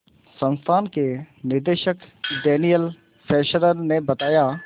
संस्थान के निदेशक डैनियल फेस्लर ने बताया